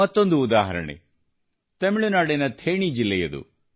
ಮತ್ತೊಂದು ಉದಾಹರಣೆ ತಮಿಳುನಾಡಿನ ಥೇಣಿ ಜಿಲ್ಲೆಯದು